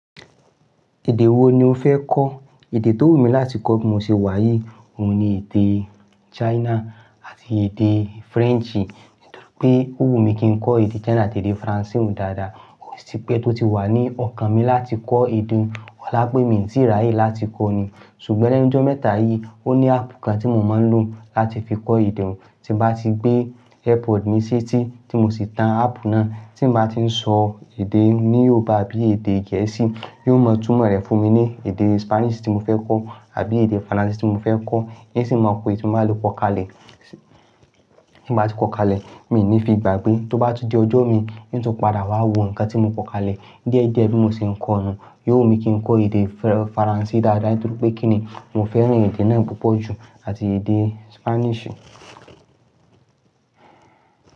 Èdè wo ni o fẹ́ kọ́? Èdè tó wù mí láti kọ́ tí mo ṣe wàyí, òun ni èdè China àti èdè French. Nítorí pé ó wù mí kí n kọ èdè China àti èdè French oun dáadáa. O tì pẹ́ tó ti wà ní ọkàn mi láti kọ èdè olá pé mi ti ráyè láti kọ́ ní. Ṣùgbọ́n lẹ́nu ọjọ́ mẹ́ta yìí, ó ní áàpù kan tí mo máa ń lò láti fi kọ èdè. Tí bá ti gbé Airpod mi sí tì tí mo sì tan áàpù náà, tí mo bá ti ń sọ èdè Yorùbá àbí èdè Gẹ̀ẹ́sì, yóò mọ̀ túmọ̀ rẹ̀ fún mi ní èdè Spanish tí mo fẹ́ kọ́ àbí èdè French tí mo fẹ́ kọ́. Nsì máa ko eyi tí mbàá le kọ́ kalẹ̀. Tí bá ti kọ́ kalẹ̀, mi ò ní fi gbàgbé. Tó bá tún di ọjọ́ mi, oun tún padà wá wo nǹkan tí mo kọ kalẹ̀ díẹ̀ díẹ̀ bí mo ṣe ń kọ́ nu. Yóò wù mí kí n kọ èdè French dáadáa nítorí pé kí ni, mo fẹ́ràn èdè náà púpọ̀ jù àti èdè Spanish.